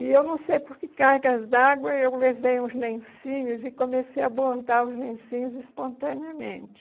E eu não sei por que cargas d'água, eu levei uns lencinhos e comecei a bordar os lencinhos espontaneamente.